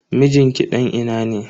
Mijin ki dan ina ne?